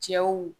Cɛw